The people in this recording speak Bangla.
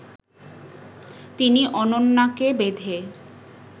তিনি অনন্যাকে বেঁধে